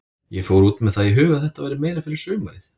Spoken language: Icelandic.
Ég fór út með það í huga að þetta væri meira fyrir sumarið.